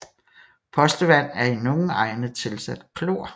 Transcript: Postevand er i nogle egne tilsat klor